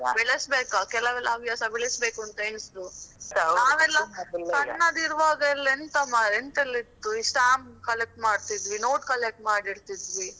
ಬೆಳೆಸಬೇಕು ಕೆಲವೆಲ್ಲ ಹವ್ಯಾಸ ಬೆಳೆಸಬೇಕು ಅಂತ ಎನಿಸುದು. ನಾವೆಲ್ಲಾ ಸಣ್ಣದಿರುವಾಗ ಎಲ್ಲ ಎಂತಾ ಮಾರ್ರೆ ಎಂತೆಲ್ಲ ಇತ್ತು stamp collect ಮಾಡ್ತಿದ್ವಿ note collect ಮಾಡಿರ್ತಿದ್ವಿ.